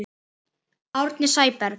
Árni Sæberg